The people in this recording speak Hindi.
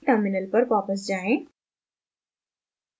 terminal पर वापस जाएँ